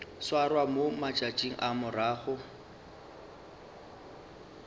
swarwa mo matšatšing a morago